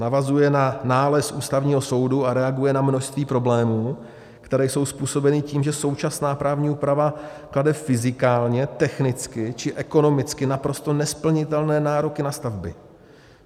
Navazuje na nález Ústavního soudu a reaguje na množství problémů, které jsou způsobeny tím, že současná právní úprava klade fyzikálně, technicky či ekonomicky naprosto nesplnitelné nároky na stavby.